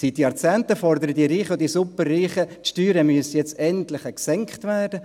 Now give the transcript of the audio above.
Seit Jahrzehnten fordern die Reichen und Superreichen, die Steuern müssten jetzt endlich gesenkt werden.